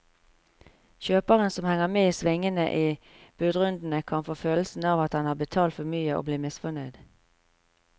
Kjøperen som henger med i svingene i budrundene, kan få følelsen av at han har betalt for mye og bli misfornøyd.